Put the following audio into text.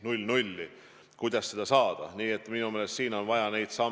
Nagu ma ütlesin, nädalavahetustel ja ka tööpäevadel peale kella 18 peab olema võimalik seda saada.